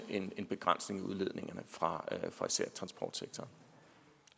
en begrænsning af udledningerne fra fra især transportsektoren